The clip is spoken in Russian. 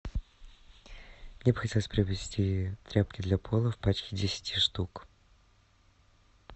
мне бы хотелось приобрести тряпки для пола в пачке десяти штук